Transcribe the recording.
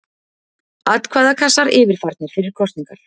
Atkvæðakassar yfirfarnir fyrir kosningar.